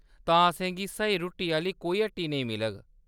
तां, असेंगी स्हेई रुट्टी आह्‌ली कोई हट्टी नेईं मिलग ?